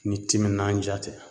Ni timinandiya tɛ